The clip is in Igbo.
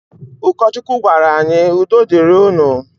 Ụkọchukwu gwara anyị 'udo dịrị unu'.